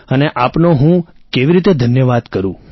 અને આપનો હું કેવી રીતે ધન્યવાદ કરું